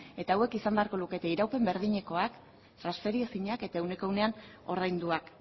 eta hauek izan beharko lukete iraupen berdinekoak transferiezinak eta ehuneko ehunean ordainduak